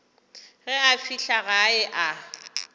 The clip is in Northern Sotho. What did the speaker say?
ge a fihla gae a